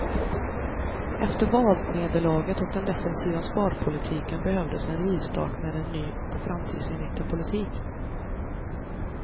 Efter valnederlaget och den defensiva sparpolitiken behövdes en rivstart med en ny och framtidsinriktad politik.